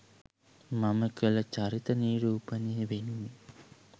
මම කළ චරිත නිරූපණය වෙනුවෙන්